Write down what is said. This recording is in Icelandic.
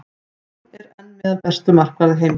Hann er enn meðal bestu markvarða heims.